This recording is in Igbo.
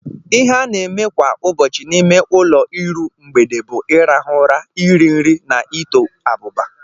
Ihe a na-eme kwa ụbọchị n'ime ụlọ iru mgbede bụ ịrahụ ụra, iri nri, na ito abụba.